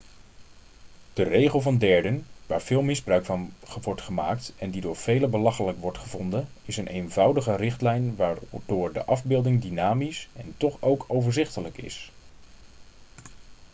de regel van derden waar veel misbruik van wordt gemaakt en die door velen belachelijk wordt gevonden is een eenvoudige richtlijn waardoor de afbeelding dynamisch en toch ook overzichtelijk is